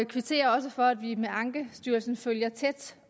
kvitterer også for at vi med ankestyrelsen følger tæt